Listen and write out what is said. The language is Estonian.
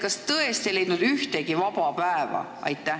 Kas tõesti ei leidunud ühtegi muud päeva?